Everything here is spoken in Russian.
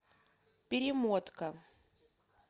перемотка